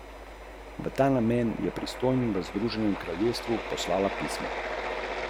Tako so nas tujci in potujčenci delali majhne in slabe, da smo nazadnje že sami verovali v to svojo neznatnost in nemoč!